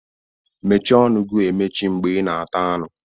Mmechi ọnụ gi emechi mgbe ị na-ata anụ!